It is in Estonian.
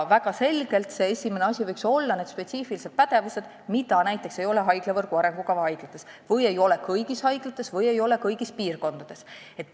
Väga selgelt võiks näiteks esimene asi olla need spetsiifilised pädevused, mida ei ole haiglavõrgu arengukava haiglates või ei ole kõigis haiglates või kõigis piirkondades.